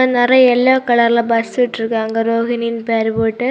நறிய எல்லோ கலர்ல பஸ் விட்ருக்காங்க ரோகினின்னு பேர் போட்டு.